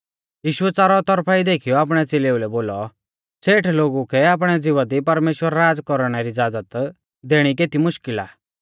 यीशुऐ च़ारौ तौरफा ई देखीयौ आपणै च़ेलेउलै बोलौ सेठ लोगु कै आपणै ज़िवा दी परमेश्‍वर राज़ कौरणै री ज़ाज़त देणी केती मुश्कल़ आ